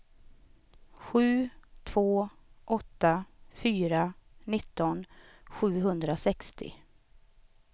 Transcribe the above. sju två åtta fyra nitton sjuhundrasextio